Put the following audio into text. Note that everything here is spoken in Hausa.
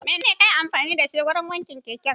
Menene kayi amfani da shi wurin wanke keken?